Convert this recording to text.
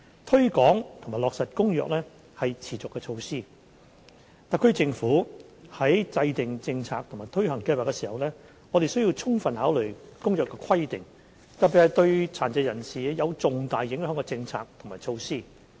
推廣及落實《公約》是持續的措施，特區政府在制訂政策和推行計劃，特別是對殘疾人士有重大影響的政策和措施時，需要充分考慮《公約》的規定。